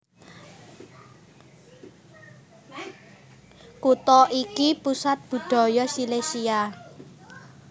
Kutha iki pusat budaya Silesia